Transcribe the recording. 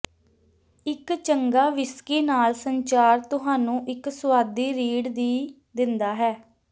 ਇੱਕ ਚੰਗਾ ਵਿਸਕੀ ਨਾਲ ਸੰਚਾਰ ਤੁਹਾਨੂੰ ਇੱਕ ਸੁਆਦੀ ਰੀੜ ਦੀ ਦਿੰਦਾ ਹੈ